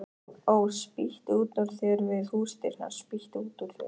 Ó, spýttu út úr þér við húsdyrnar, spýttu út úr þér